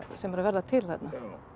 sem er að verða til þarna